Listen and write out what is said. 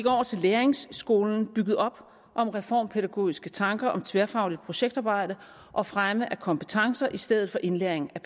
over til læringsskolen bygget op om reformpædagogiske tanker om tværfagligt projektarbejde og fremme af kompetencer i stedet for indlæring af